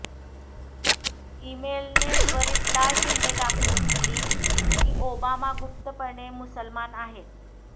इमेलने त्वरित लाल झेंडे दाखवून दिली की ओबामा गुप्तपणे मुसलमान आहेत